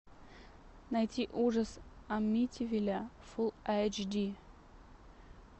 найти ужас амитивилля фулл эйч ди